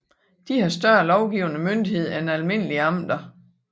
De har større lovgivende myndighed end almindelige amter